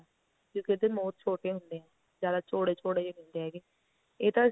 ਕਿਉਂਕਿ ਉਹਦੇ ਮੋਰ ਛੋਟੇ ਹੁੰਦੇ ਆ ਜਿਆਦਾ ਚੋੜੇ ਚੋੜੇ ਨਹੀਂ ਹੁੰਦੇ ਹੈਗੇ ਇਹ ਤਾਂ